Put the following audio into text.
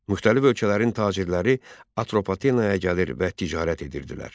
Müxtəlif ölkələrin tacirləri Atropatenaya gəlir və ticarət edirdilər.